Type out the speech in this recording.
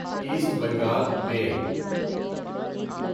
asset Bengal میل